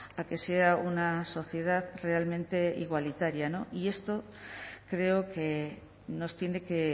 a que sea una sociedad realmente igualitaria y esto creo que nos tiene que